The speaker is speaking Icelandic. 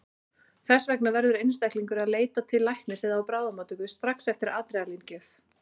Þess vegna verður einstaklingur að leita til læknis eða á bráðamóttöku strax eftir adrenalín-gjöf.